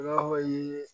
ye